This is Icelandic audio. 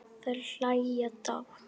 Þær hlæja dátt.